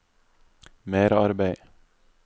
merarbeid